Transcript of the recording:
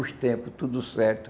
Os tempos, tudo certo.